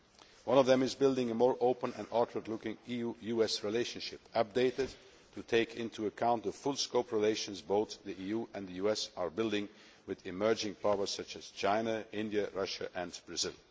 One of them is building a more open and outward looking EU US relationship that would take into account the full scope of relations that both the EU and the US are building with emerging powers such as China, India, Russia and Brazil.